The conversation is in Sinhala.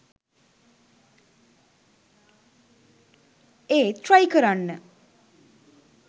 ඒත් ට්‍රයි කරන්න